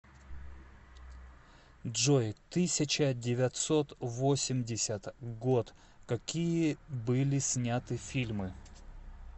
джой тысяча девятьсот восемьдесят год какие были сняты фильмы